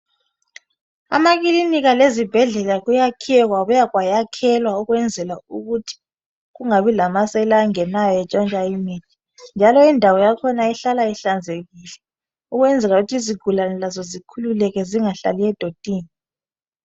Emakilinika lezibhedlela kuyakhiwe kwabuya kwayakhelwa ukwenzela ukuthi kungabi lamasela angenayo entshontsha imithi , njalo indawo yakhona ihlala ihlanzekile uzwenzela ukuthi izigulani lazo zikhululeke zingahlali edotini.